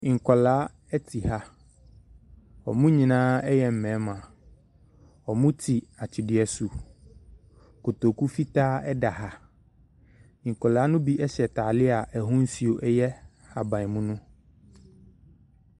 Nkwadaa te ha. Wɔn nyinaa yɛ mmarima. Wɔte atwedeɛ so. Kotoku fitaa da ha. Nkwadaa no bi hyɛ ataareɛ a n’ahosuo yɛ ahaban mono.